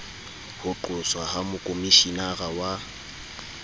ho qoswa ha mokhomishenara wa